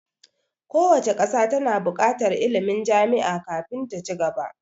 Kowace ƙasa ta na buƙatar ilmin jami'a kafin ta ci gaba